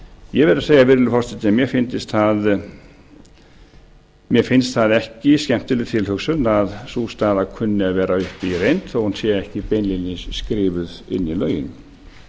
ég verð að segja virðulegi forseti að mér finnst það ekki skemmtileg tilhugsun að sú staða kunni að vera uppi í reynd þó hún sé ekki beinlínis skrifuð inn í lögin